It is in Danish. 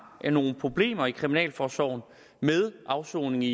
nogle problemer i kriminalforsorgen med afsoning i